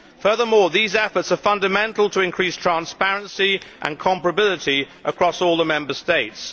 Furthermore, these efforts are fundamental to increased transparency and comparability across all the Member States.